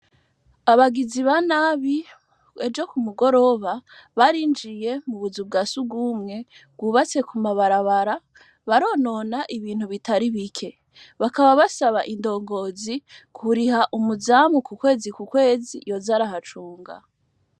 Abagizi ba nabi ejo ku mugoroba barinjiye mu buzu bwa Surwumwe bwubatse ku mabarabara baronona ibintu bitari bike. Bakaba basaba indongozi kuriha umuzamu ku kwezi ku kwezi yoza arahacunga.